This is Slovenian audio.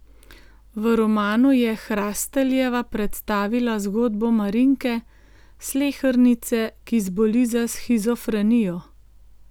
V romanu je Hrasteljeva predstavila zgodbo Marinke, slehernice, ki zboli za shizofrenijo.